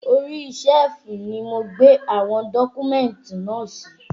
Orí síẹ̀fù ni mo gbé àwọn dọ́kúmẹ̀tì náà sí